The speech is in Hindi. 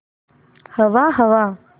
हवा हवा